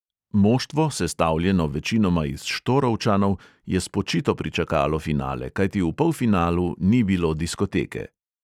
Moštvo, sestavljeno večinoma iz štorovčanov, je spočito pričakalo finale, kajti v polfinalu ni bilo diskoteke.